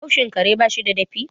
haushin kare ba shi da dafi